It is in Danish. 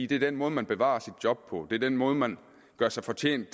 det er den måde man bevarer sit job på det er den måde man gør sig fortjent